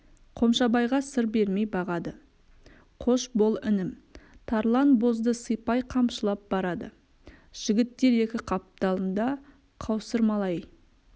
қомшабайға сыр бермей бағады қош бол інім тарлан бозды сипай қамшылап барады жігіттер екі қапталында қаусырмалай